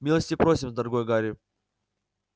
милости просим дорогой гарри